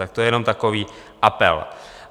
Tak to je jenom takový apel.